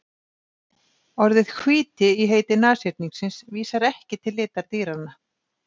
Orðið hvíti í heiti nashyrningsins vísar ekki til litar dýranna.